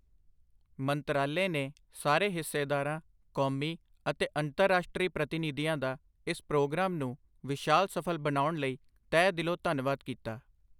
ਮੰਤਰਾਲੇ ਨੇ ਸਾਰੇ ਹਿੱਸੇਦਾਰਾਂ, ਕੌਮੀ ਅਤੇ ਅੰਤਰਰਾਸ਼ਟਰੀ ਪ੍ਰਤੀਨਿਧੀਆਂ ਦਾ ਇਸ ਪ੍ਰੋਗਰਾਮ ਨੂੰ ਵਿਸ਼ਾਲ ਸਫ਼ਲ ਬਣਾਉਣ ਲਈ ਤਹਿ ਦਿਲੋਂਧੰਨਵਾਦ ਕੀਤਾ।